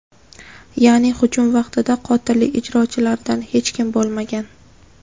Ya’ni hujum vaqtida qotillik ijrochilaridan hech kim bo‘lmagan.